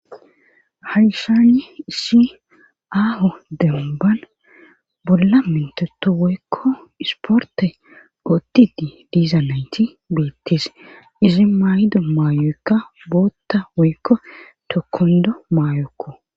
Hayshani isi aaho demban bolla minteto woykko isporte ootti di diza naynti beettis izi mayido maayoyekka bootta woykko tokondo mayokko